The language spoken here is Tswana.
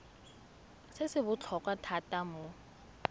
se se botlhokwa thata mo